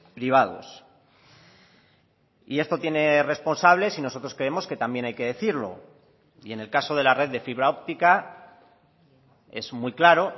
privados y esto tiene responsables y nosotros creemos que también hay que decirlo y en el caso de la red de fibra óptica es muy claro